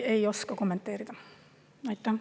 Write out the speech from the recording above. Ei oska kommenteerida!